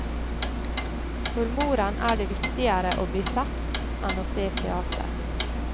For moren er det viktigere å bli sett, enn å se teater.